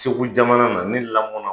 Segu jamana, n lamɔn na yen!